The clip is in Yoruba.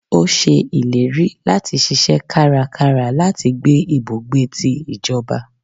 o ṣe ìlérí lati ṣiṣẹ kára kára láti gbé ibùgbé tí ìjọba